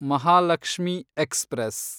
Mahalakshmi express